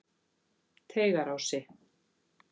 Teigarási